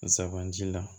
Sabanan ji la